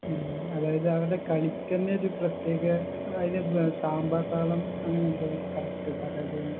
ഉം അതായത് അവരുടെ കളിക്കന്നെ ഒരു പ്രത്യേക ഏർ അയിലെന്താ സാമ്പാതാളം അങ്ങനെന്തൊന്ന് correct പറയുന്നത്